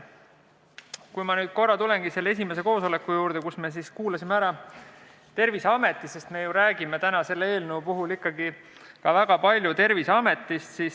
Ma tulengi nüüd korraks selle esimese koosoleku juurde, mille käigus me kuulasime ära Terviseameti, sest me räägime täna selle eelnõu puhul ikkagi väga palju Terviseametist.